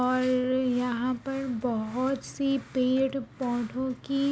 और यहाँ पर बोहोत सी पेड़-पौधे की--